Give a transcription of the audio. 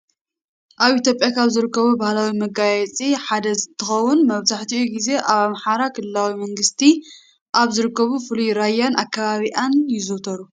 ኣብ ኢትዮጵያ ካብ ዝርከቡ ባህላዊ መጋየፅታት ሓደ እንትኸውን መብዛሕቲኡ ግዜ ኣብ ኣምሓራ ክልላዊ መንግስቲ ካብ ዝርከቡ ብፍሉይ ራያን ኣከባቢኣን ይዝውተሩ።